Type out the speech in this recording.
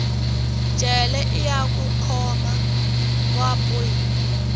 jele iya ku khoma va bohiwa